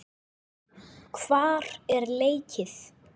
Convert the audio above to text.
Hvar er leikið?